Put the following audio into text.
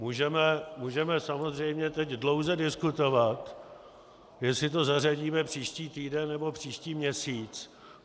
Můžeme samozřejmě teď dlouze diskutovat, jestli to zařadíme příští týden nebo příští měsíc.